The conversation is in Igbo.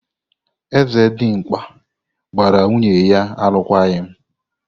Eze Dimgba gbara nwunye ya alụkwaghịm.